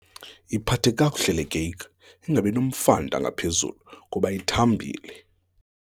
Yiphathe kakuhle le keyiki ingabi nomfanta ngaphezulu kuba ithambile.